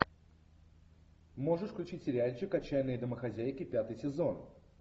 можешь включить сериальчик отчаянные домохозяйки пятый сезон